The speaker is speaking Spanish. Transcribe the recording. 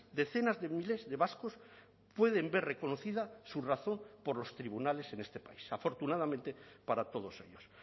decenas de miles de vascos pueden ver reconocida su razón por los tribunales en este país afortunadamente para todos ellos